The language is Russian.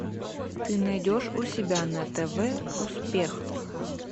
ты найдешь у себя на тв успех